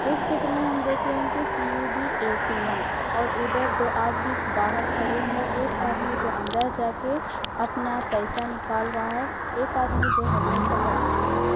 इस चित्र में हम देख रहे हैं कि सी.यु.बी. ए.टी.एम. और उधर दो आदमी बाहर खड़े हुए। एक आदमी जो अंदर जाके अपना पैसा निकाल रहा है। एक आदमी जो हेलमेट पकड़ के खड़ा है।